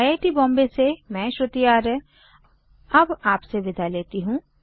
I I T Bombay से मैं श्रुति आर्य अब आपसे विदा लेती हूँ